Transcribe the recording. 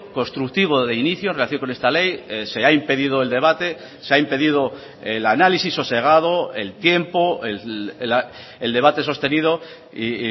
constructivo de inicio en relación con esta ley se ha impedido el debate se ha impedido el análisis sosegado el tiempo el debate sostenido y